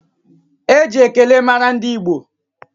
Eji ekele mara ndị Igbo